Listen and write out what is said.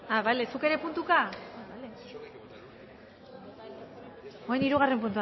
zuk ere puntuka bale orain hirugarren